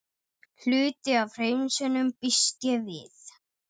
Hvað átti öll þessi borgaralega velsæld að fyrirstilla?